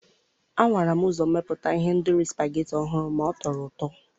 a nwara m uzommeputa ihendori supageti ọhụrụ ma ọ tọrọ ụtọ.